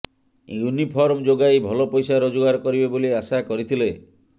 uniform ଯୋଗାଇ ଭଲ ପଇସା ରୋଜଗାର କରିବେ ବୋଲି ଆଶା କରିଥିଲେ